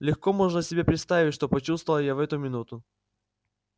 легко можно себе представить что почувствовал я в эту минуту